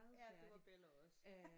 Ja det var Bella også